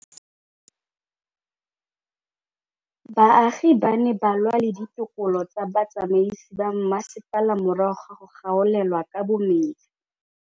Baagi ba ne ba lwa le ditokolo tsa botsamaisi ba mmasepala morago ga go gaolelwa kabo metsi